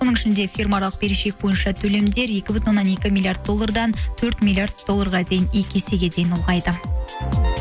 оның ішінде фирмааралық берешек бойынша төлемдер екі бүтін оннан екі миллиард доллардан төрт миллиард долларға дейін екі есеге дейін ұлғайды